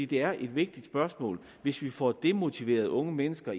det er et vigtigt spørgsmål hvis vi får demotiveret unge mennesker